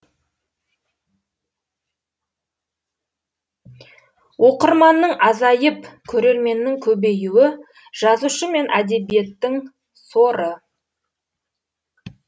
оқырманның азайып көрерменнің көбеюі жазушы мен әдебиеттің соры